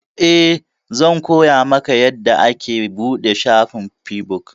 Eh, zan koya maka yanda ake buɗe shafin feabuk